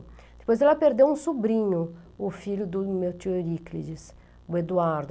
Depois ela perdeu um sobrinho, o filho do meu tio Euríclides, o Eduardo.